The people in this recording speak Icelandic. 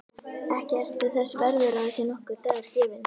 Ekki ertu þess verður að þér sé nokkur dagur gefinn.